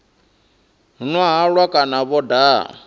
nwa halwa kana vho daha